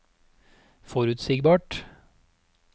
forutsigbart